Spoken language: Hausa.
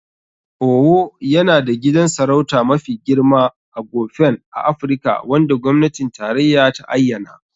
Owo yana da gidan sarauta mafi girma (Aghofen) a Afirka wanda gwamnatin tarayya ta ayyana.